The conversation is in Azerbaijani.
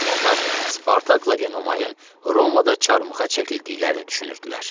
Onlar Spartakla Enomayın Romada çarmıxa çəkildiklərini düşünürdülər.